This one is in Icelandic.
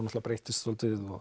breyttist svolítið